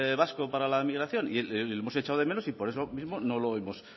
vasco para la migración y lo hemos echado de menos y por eso mismo no lo hemos